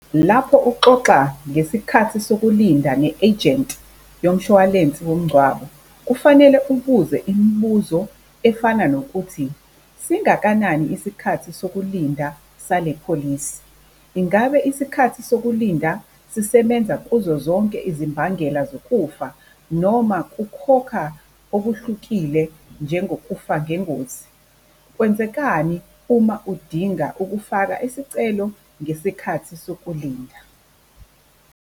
Lapho uxoxa ngesikhathi sokulinda ne-agent yomshwalensi womngcwabo kufanele ubuze imibuzo efana nokuthi, singakanani isikhathi sokulinda sale pholisi? Ingabe isikhathi sokulinda sisebenza kuzo zonke izimbangela zokufa noma kukhokha okuhlukile njengokufa ngengozi? Kwenzekani uma udinga ukufaka isicelo ngesikhathi sokulinda?